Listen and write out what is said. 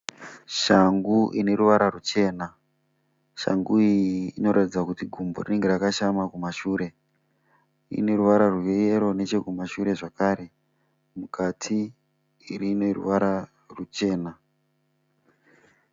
Shangu ine ruvara ruchena shangu iyi inoratidza kuti gumbo rinenge rakashama kumashure. Ine ruvara rweyero nechekumashure zvakare mukati ine ruvara ruchena.